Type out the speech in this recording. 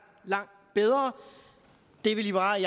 langt bedre det vil liberal